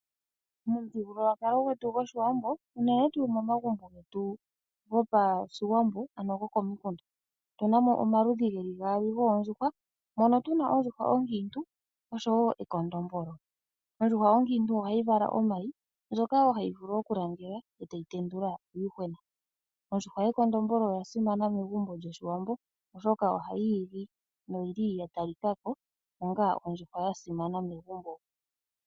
Momuthigululwakalo gwetu gwOshiwambo unene tuu momagumbo getu gopashiwambo ano gokomikunda otu namo omaludhi ge li gaali goondjuhwa mono tu na ondjuhwa onkiintu oshowo ekondombolo. Ondjuhwa onkiintu oha yi vala omayi ndjoka wo hayi vulu okulangela e tayi tendula uuyuhwena. Ondjuhwa yekondombolo oya simana megumbo lyOshiwambo oshoka oha yi igi noyi li ya talikako onga ondjuhwa ya simana megumbo.